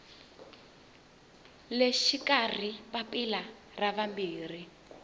le xikarhi papila ra vumbirhi